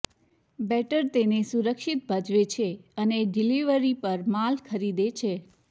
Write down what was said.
better તેને સુરક્ષિત ભજવે છે અને ડિલિવરી પર માલ ખરીદે છે